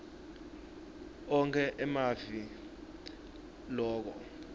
onkhe emave loke